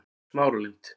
Smáralind